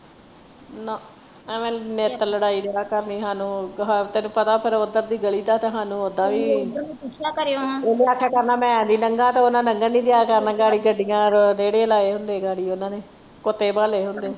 ਨਾ ਐਵੇਂ ਨਿੱਤ ਲੜਾਈ ਰਿਹਾ ਕਰਨੀ ਹਾਨੂੰ ਤੈਨੂੰ ਪਤਾ ਫੇਰ ਓਧਰ ਦੀ ਗਲੀ ਦਾ ਤੇ ਹਾਨੂੰ ਓਹਨੇ ਆਖਿਆ ਕਰਨਾ ਮੈਂ ਇਹਦੀ ਲੰਘਣ ਨਹੀਂ ਦਿਆ ਕਰਨਾ ਗਾੜੀ ਗੱਡੀਆਂ ਰੇੜੇ ਲਾਏ ਹੁੰਦੇ ਗਾੜੀ ਇਹਨਾਂ ਨੇ ਕੁੱਤੇ ਬਾਲੇ ਹੁੰਦੇ।